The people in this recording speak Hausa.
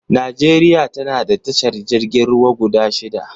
Najeriya tana da tashar jirgin ruwa guda shida